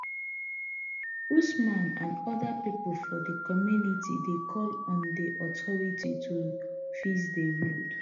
usman and oda pipo for di community dey call on di authority to fix di road